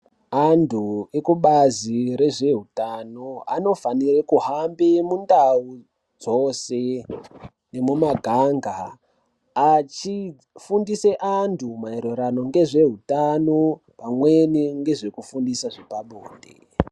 Antu vekubazi rezvehutano anofanira kuhamba mundau dzose nemumaganga achifundisa antu maererano ngezvehutano pamweni nezvekufundisa zvepabonde.